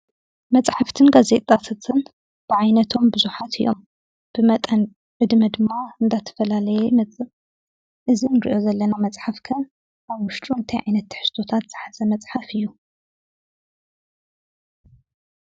መሓፍትን ጋዜጣታትን ብዓይነቶም ቡዙሓት እዮም። ብመጠን ዕድመ ድማ እንዳተፈላለየ ይመፅእ። እዚ እንሪኦ ዘለና መፅሓፍ ከ ኣብ ዉሽጡ እንታይ ዓይነት ትሕዝቶታት ዝሓዘ መፅሓፍ እዩ?